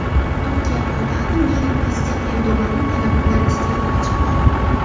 Turkiya poytaxti meri prezident Erdo‘g‘onning talabi bilan iste’foga chiqdi.